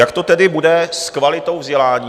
Jak to tedy bude s kvalitou vzdělání?